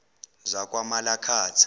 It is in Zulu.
zakwamalakatha